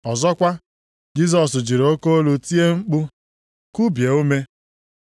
Ọzọkwa, Jisọs jiri oke olu tie mkpu, kubie ume.